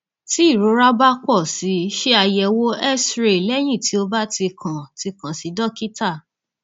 tí ìrora bá pọ si ṣe àyẹwò xray lẹyìn tí o bá ti kàn ti kàn sí dókítà